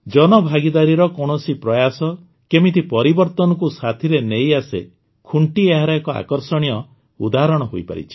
ଜନଭାଗିଦାରୀର କୌଣସି ପ୍ରୟାସ କେମିତି ପରିବର୍ତ୍ତନକୁ ସାଥିରେ ନେଇଆସେ ଖୁଣ୍ଟି ଏହାର ଏକ ଆକର୍ଷଣୀୟ ଉଦାହରଣ ହୋଇପାରିଛି